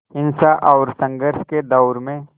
हिंसा और संघर्ष के दौर में